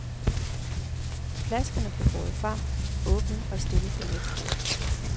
Flaskerne blev båret frem, åbnet og stillet på nabobordet.